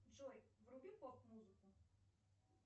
джой вруби поп музыку